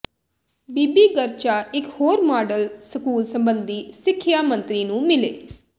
ਬੀਬੀ ਗਰਚਾ ਇਕ ਹੋਰ model school ਸਬੰਧੀ ਸਿੱਖਿਆ ਮੰਤਰੀ ਨੂੰ ਮਿਲੇ